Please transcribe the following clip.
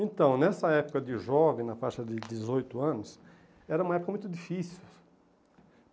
Então, nessa época de jovem, na faixa de dezoito anos, era uma época muito difícil.